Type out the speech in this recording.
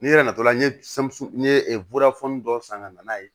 N'i yɛrɛ natɔla n ye n ye dɔ san ka na n'a ye